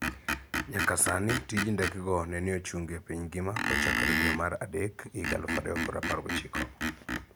Nyaka sani tij ndekego nene ochungi e piny ngima kochakore dwe mar adek, 2019.